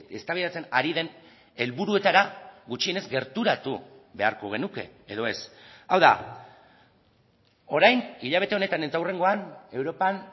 eztabaidatzen ari den helburuetara gutxienez gerturatu beharko genuke edo ez hau da orain hilabete honetan eta hurrengoan europan